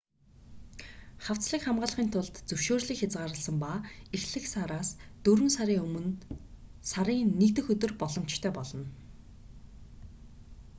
хавцлыг хамгаалахын тулд зөвшөөрлийг хязгаарласан ба эхлэх сараас дөрвөн сарын өмнө сарын 1 дэх өдөр боломжтой болно